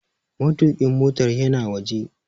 Matuƙin motar yana waje.